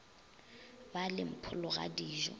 ba le mpholo ga dijo